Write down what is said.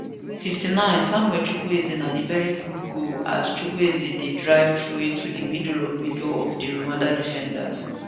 59 samuel chukwuezedat na veri good goal as chukwueze drive through into di middle of middle of di rwanda defenders